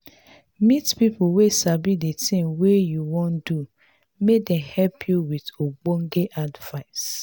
meet pipo wey sabi the thing wey you wan do make dem help you with ogbonge advice